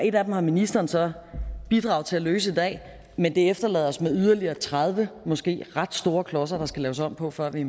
et af dem har ministeren så bidraget til at løse i dag men det efterlader os med yderligere tredive måske ret store klodser der skal laves om på før vi